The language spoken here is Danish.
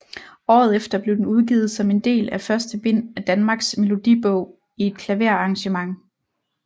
Året efter blev den udgivet som en del af første bind af Danmarks Melodibog i et klaverarrangement